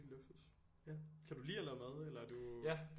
Luksus kan du lide at lave mad eller er du